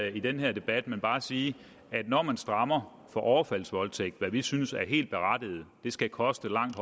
i den her debat men bare sige at når man strammer for overfaldsvoldtægt hvad vi synes er helt berettiget det skal koste langt